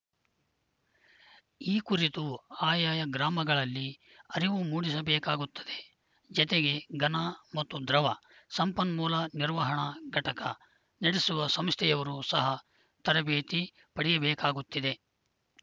ಈ ಕುರಿತು ಆಯಾಯ ಗ್ರಾಮಗಳಲ್ಲಿ ಅರಿವು ಮೂಡಿಸಬೇಕಾಗುತ್ತದೆ ಜತೆಗೆ ಘನ ಮತ್ತು ದ್ರವ ಸಂಪನ್ಮೂಲ ನಿರ್ವಹಣಾ ಘಟಕ ನಡೆಸುವ ಸಂಸ್ಥೆಯವರು ಸಹ ತರಬೇತಿ ಪಡೆಯಬೇಕಾಗುತ್ತಿದೆ